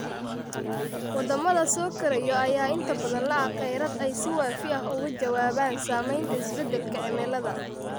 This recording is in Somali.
Waddamada soo koraya ayaa inta badan la'a kheyraad ay si waafi ah uga jawaabaan saameynta isbeddelka cimilada.